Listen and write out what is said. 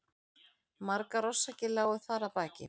Margar orsakir lágu þar að baki.